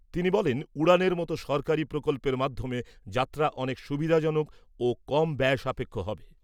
তিনি বলেন , উড়ানের মতো সরকারী প্রকল্পের মাধ্যমে যাত্রা অনেক সুবিধাজনক ও কমব্যয় সাপেক্ষ হবে ।